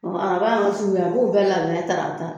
Dɔw bɛ na minɛ ta ka ta